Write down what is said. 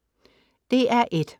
DR1: